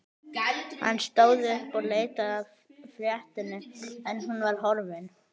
Hann stóð upp og leitaði að fléttunni en hún var horfin.